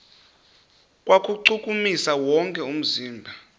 kuwuchukumisa wonke umzimba